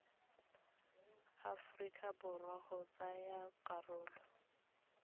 aforika borwa go tsaya karolo